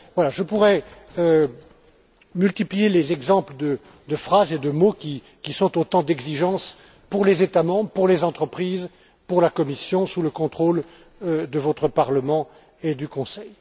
Je pourrais multiplier les exemples de phrases et de mots qui sont autant d'exigences pour les États membres, pour les entreprises et pour la Commission, sous le contrôle de votre Parlement et du Conseil.